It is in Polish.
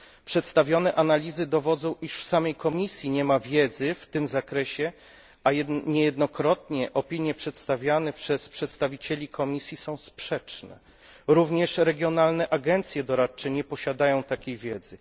Przedstawione analizy dowodzą, iż w samej Komisji nie ma wiedzy w tym zakresie, a niejednokrotnie opinie przedstawiane przez przedstawicieli Komisji są sprzeczne. Również regionalne agencje doradcze nie posiadają takiej wiedzy.